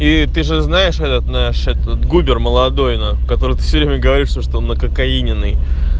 ты же знаешь этот наш губер молодой нахуй который ты все время говорит что он на какоиненый